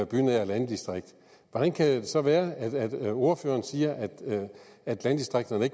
bynært landdistrikt hvordan kan det så være at ordføreren siger at landdistrikterne